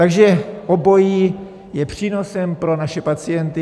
Takže obojí je přínosem pro naše pacienty.